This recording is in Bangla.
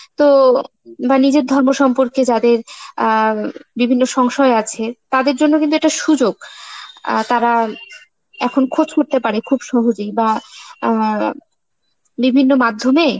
তো বা নিজের সম্পর্কে যাদের আঁ বিভিন্ন সংশয় আছে, তাদের জন্য কিন্তু একটা সুযোগ, আঁ তারা এখন খোঁজ করতে পারে খুব সহজেই, বা আঁ বিভিন্ন মাধ্যমে